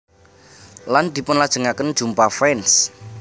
Lan dipunlajengaken jumpa fans